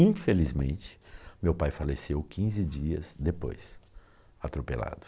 Infelizmente, meu pai faleceu quinze dias depois, atropelado.